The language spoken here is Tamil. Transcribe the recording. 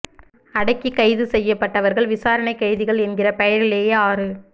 அடக்கி கைது செய்யப் பட்டவர்கள் விசாரணை கைதிகள் என்கிற பெயரிலேயே ஆறு